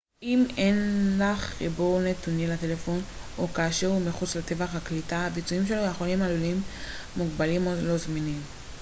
אם אין לך חיבור נתונים לטלפון שלך או כאשר הוא מחוץ לטווח הקליטה הביצועים שלו יכולים עלולים מוגבלים או לא זמינים